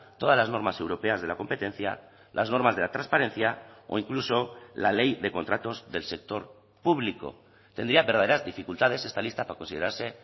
todas las normas europeas de la competencia las normas de la transparencia o incluso la ley de contratos del sector público tendría verdaderas dificultades esta lista para considerarse